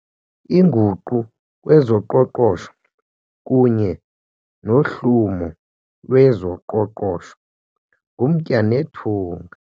Inguqu kwezoqoqosho kunye nohlumo lwezoqoqosho ngumtya nethunga.